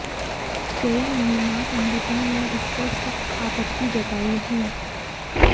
कई महिला संगठनों ने इसपर सख्त आपत्ति जताई है